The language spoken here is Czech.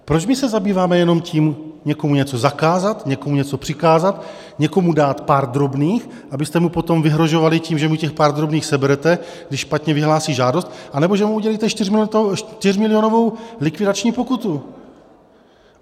Proč my se zabýváme jenom tím někomu něco zakázat, někomu něco přikázat, někomu dát pár drobných, abyste mu potom vyhrožovali tím, že mu těch pár drobných seberete, když špatně vyhlásí žádost, anebo že mu udělíte čtyřmilionovou likvidační pokutu?